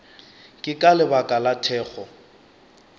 ke ka lebaka la thekgo